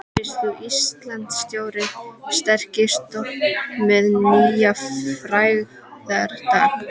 Rís þú, Íslands stóri, sterki stofn með nýjan frægðardag.